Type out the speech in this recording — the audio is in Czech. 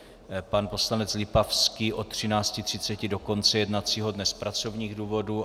Pan poslanec Lipavský od 13.30 do konce jednacího dne z pracovních důvodů.